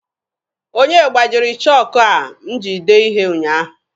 Onye gbajiri chọọkụ a m ji dee ihe ụnyaahụ?